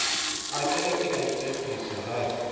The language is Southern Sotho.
ekare ke a iketsisa ha